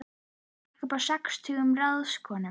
Ég stakk upp á sextugum ráðskonum.